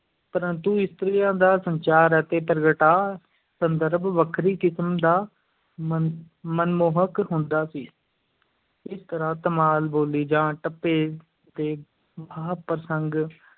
ਪਰੰਤੂ ਇਸਤਰੀਆਂ ਦਾ ਸੰਚਾਰ ਅਤੇ ਪ੍ਰਗਟਾਅ-ਸੰਦਰਭ ਵੱਖਰੀ ਕਿਸਮ ਦਾ ਮਨ ਮਨਮੋਹਕ ਹੁੰਦਾ ਸੀ ਇਸ ਤਰ੍ਹਾਂ ਧਮਾਲ, ਬੋਲੀ ਜਾਂ ਟੱਪੇ ਦੇ ਵਹਾਅ ਪ੍ਰਸੰਗ